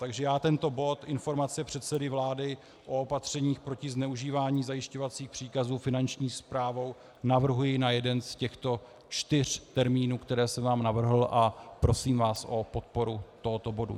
Takže já tento bod Informace předsedy vlády o opatřeních proti zneužívání zajišťovacích příkazů Finanční správou navrhuji na jeden z těchto čtyř termínů, které jsem vám navrhl, a prosím vás o podporu tohoto bodu.